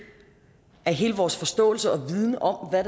af hele vores forståelse og viden om hvad